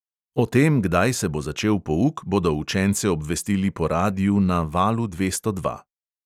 O tem, kdaj se bo začel pouk, bodo učence obvestili po radiu na valu dvesto dva.